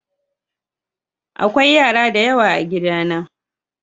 akwai yara da yawa a gida na.